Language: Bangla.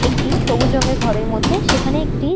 একটি সবুজ রং এর ঘর এর মধ্যে সেখানে একটি--